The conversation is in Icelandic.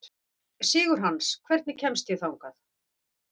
Sigurhans, hvernig kemst ég þangað?